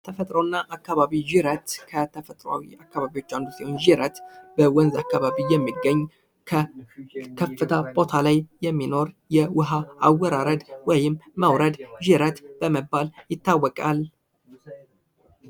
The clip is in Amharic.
ተፈጥሮና አካባቢ ጅረት ከተፈጥሯዊ አካባቢ አንዱ ሲሆን ጅረት በወንዝ አካባቢ የሚገኝ ከከፍታ ቦታ ላይ የሚኖር የዉኃ አወራረድ ወይም መዉረድ ጅረት በመባል ይታወቃል።